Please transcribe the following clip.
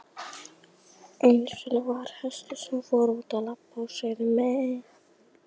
Gallinn er bara sá að það getur tekið sinn tíma.